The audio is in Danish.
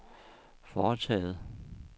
foretaget